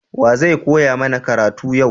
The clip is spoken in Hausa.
Wa zai koya mana karatu yau?